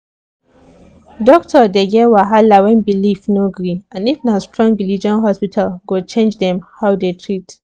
doctor dey get wahala when belief no gree and if na strong religion hospital go change how dem dey treat